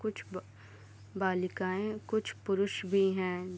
कुछ ब बालिकाए कुछ पुरुष भी है।